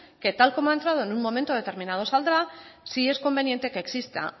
que tal como ha entrado en un momento determinado saldrá sí es conveniente que exista